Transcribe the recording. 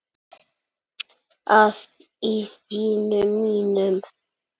að í syni mínum